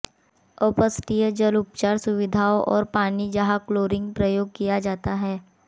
अपशिष्ट जल उपचार सुविधाओं और पानी जहां क्लोरीन प्रयोग किया जाता है